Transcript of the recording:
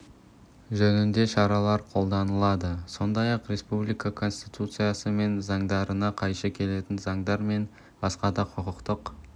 жөнінде шаралар қолданады сондай-ақ республика конституциясы мен заңдарына қайшы келетін заңдар мен басқа да құқықтық